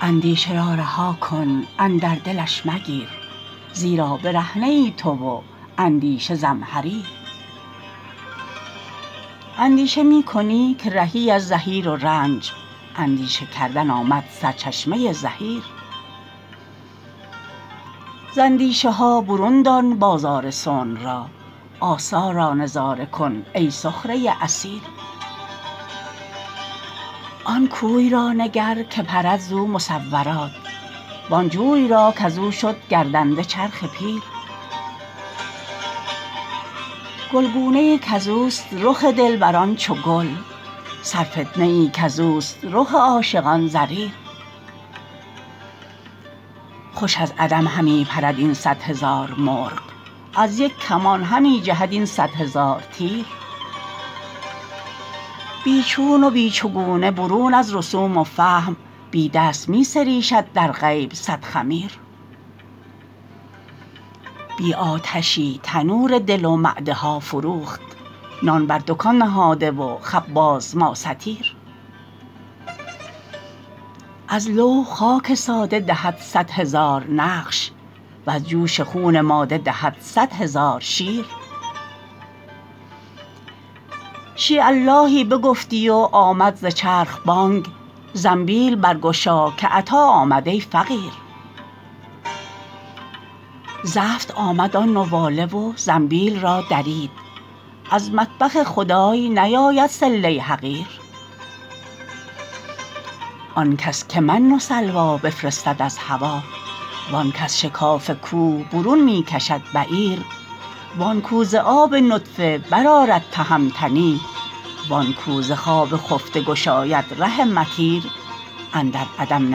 اندیشه را رها کن اندر دلش مگیر زیرا برهنه ای تو و اندیشه زمهریر اندیشه می کنی که رهی از زحیر و رنج اندیشه کردن آمد سرچشمه زحیر ز اندیشه ها برون دان بازار صنع را آثار را نظاره کن ای سخره اثیر آن کوی را نگر که پرد زو مصورات وان جوی را کز او شد گردنده چرخ پیر گلگونه ای کز اوست رخ دلبران چو گل سرفتنه ای کز اوست رخ عاشقان زریر خوش از عدم همی پرد این صد هزار مرغ از یک کمان همی جهد این صد هزار تیر بی چون و بی چگونه برون از رسوم و فهم بی دست می سریشد در غیب صد خمیر بی آتشی تنور دل و معده ها فروخت نان بر دکان نهاده و خباز ما ستیر از لوح خاک ساده دهد صد هزار نقش وز جوش خون ماده دهد صد هزار شیر شییء اللهی بگفتی و آمد ز چرخ بانگ زنبیل برگشا که عطا آمد ای فقیر زفت آمد آن نواله و زنبیل را درید از مطبخ خدای نیاید صله حقیر آن کس که من و سلوی بفرستد از هوا و آنک از شکاف کوه برون می کشد بعیر وان کو ز آب نطفه برآرد تهمتنی وان کو ز خواب خفته گشاید ره مطیر اندر عدم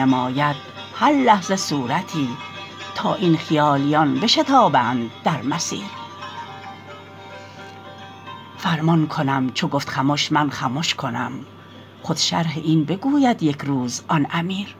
نماید هر لحظه صورتی تا این خیالیان بشتابند در مسیر فرمان کنم چو گفت خمش من خمش کنم خود شرح این بگوید یک روز آن امیر